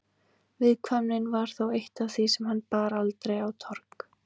Viðkvæmnin var þó eitt af því sem hann bar aldrei á torg.